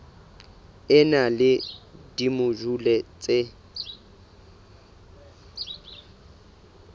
e na le dimojule tse